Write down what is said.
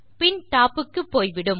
பின் top க்கு போய்விடும்